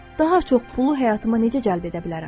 Daha çox pulu həyatıma necə cəlb edə bilərəm?